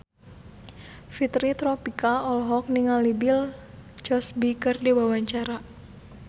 Fitri Tropika olohok ningali Bill Cosby keur diwawancara